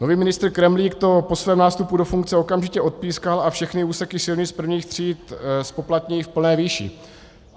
Nový ministr Kremlík to po svém nástupu do funkce okamžitě odpískal a všechny úseky silnic prvních tříd zpoplatní v plné výši.